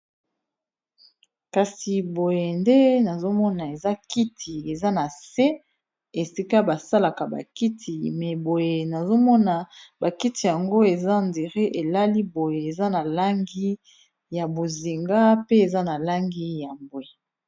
Kasi boye nde nazomona ezakiti ezanase esika basalaka bakiti meboye nazomona bakiti yango ezandire elaliboye ezanalangi ya bozinga pe ezanalangi ya mbwe